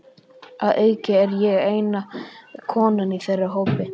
Að auki er ég eina konan í þeirra hópi.